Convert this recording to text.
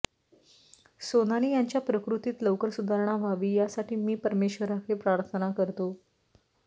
सोनाली यांच्या प्रकृतीत लवकर सुधारणा व्हावी यासाठी मी परमेश्वराकडे प्रर्थना करतो